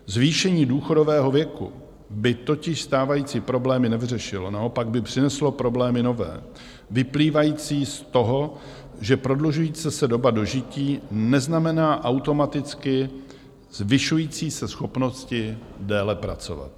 Zvýšení důchodového věku by totiž stávající problémy nevyřešilo, naopak by přineslo problémy nové, vyplývající z toho, že prodlužující se doba dožití neznamená automaticky zvyšující se schopnost déle pracovat.